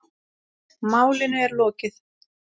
Málinu er lokið.